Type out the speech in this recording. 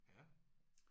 Ja